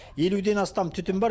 елуден астам түтін бар